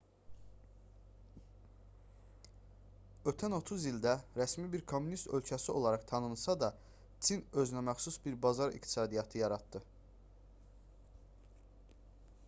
ötən 30 ildə rəsmi bir kommunist ölkəsi olaraq tanınsa da çin özünəməxsus bir bazar iqtisadiyyatı yaratdı